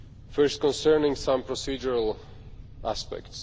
First, concerning some procedural aspects.